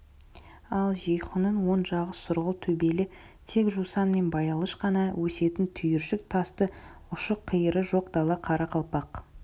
ал жейхунның оң жағы сұрғыл төбелі тек жусан мен баялыш қана өсетін түйіршік тасты ұшы-қиыры жоқ дала қарақалпақ